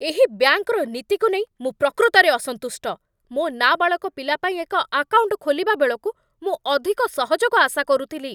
ଏହି ବ୍ୟାଙ୍କର ନୀତିକୁ ନେଇ ମୁଁ ପ୍ରକୃତରେ ଅସନ୍ତୁଷ୍ଟ। ମୋ ନାବାଳକ ପିଲା ପାଇଁ ଏକ ଆକାଉଣ୍ଟ ଖୋଲିବା ବେଳକୁ ମୁଁ ଅଧିକ ସହଯୋଗ ଆଶା କରୁଥିଲି।